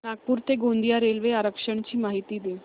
नागपूर ते गोंदिया रेल्वे आरक्षण ची माहिती दे